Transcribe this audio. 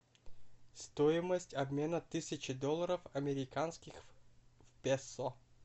стоимость обмена тысячи долларов американских в песо